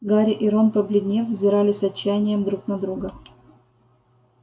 гарри и рон побледнев взирали с отчаянием друг на друга